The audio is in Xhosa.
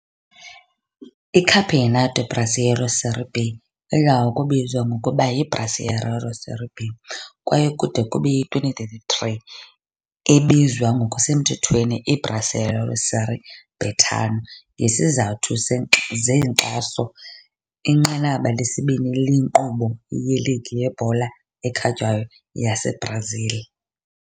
ICampeonato Brasileiro Série B, idla ngokubizwa ngokuba yi yiBrasileirão Série B, Série B, kwaye kude kube yi-2023 ebizwa ngokusemthethweni iBrasileirão Série Betano ngezizathu zenkxaso, inqanaba lesibini lenkqubo yeligi yebhola ekhatywayo yaseBrazil.